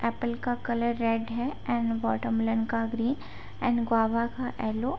Apple का colour red है and watermelon का ग्रीन एंड गुआभा का येलो ।